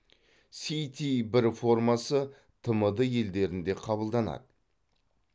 ст бір формасы тмд елдерінде қабылданады